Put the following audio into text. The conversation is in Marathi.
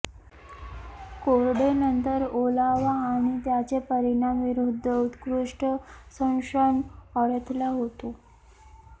कोरडे नंतर ओलावा आणि त्याचे परिणाम विरुद्ध उत्कृष्ट संरक्षण अडथळा होतो